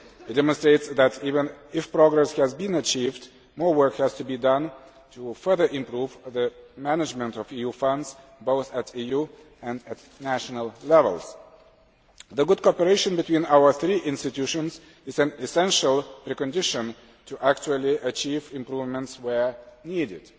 It demonstrates that even if progress has been achieved, more work has to be done to further improve the management of EU funds, both at EU and national levels. The good cooperation between our three institutions is an essential precondition to actually achieving improvements where needed.